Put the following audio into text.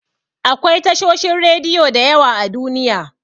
Akwai tashoshin rediyo da yawa a Duniya.